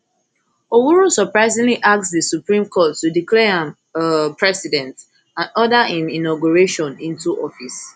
owuru surprisingly ask di supreme court to declare am um president and order im inauguration into office